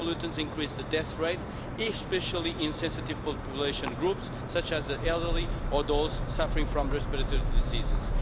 These pollutants increase the death rate, especially in sensitive population groups such as the elderly and those suffering from respiratory diseases.